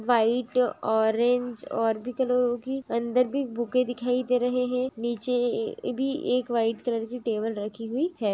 White orange और भी कलरो कि अंदर भी बुके दिखाई दे रहे है। नीचे ए भी एक व्हाइट कलर की टेबल रखी हुई है।